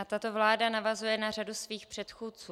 A tato vláda navazuje na řadu svých předchůdců.